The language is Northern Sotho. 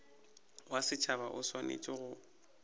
wa setšhaba o swanetše go